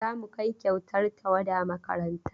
Za mu kai kyautar tawada makaranta.